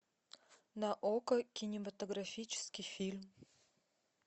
на окко кинематографический фильм